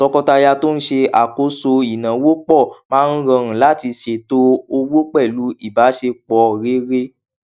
tọkọtaya tó n ṣe àkóso ináwó pọ máa ń rọrùn láti ṣètò owó pẹlú ìbáṣepọ rere